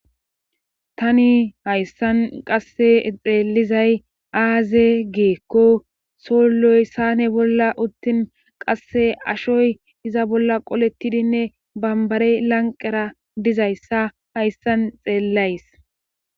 tani hayssan qasse xeellizay aaze geekko soloy sane bolla uttin qasse ashoy iza bolla qolettidinne bambare lanqera dizayssa hayssan xeellays